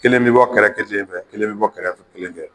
Kelen bɛ bɔ kɛrɛfɛ kelen fɛ kelen bɛ bɔ kɛrɛfɛ kelen fɛ